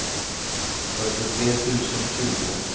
fyrtiotre tusen tjugo